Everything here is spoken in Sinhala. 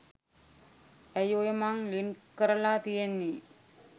ඇයි ඔය මං ලින්ක් කරලා තියෙන්නේ